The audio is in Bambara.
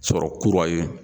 Sɔrɔ kura ye.